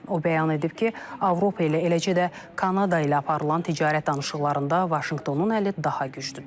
O bəyan edib ki, Avropa ilə eləcə də Kanada ilə aparılan ticarət danışıqlarında Vaşinqtonun əli daha güclüdür.